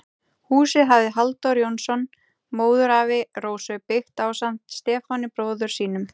Húsið hafði Halldór Jónsson, móðurafi Rósu, byggt ásamt Stefáni, bróður sínum.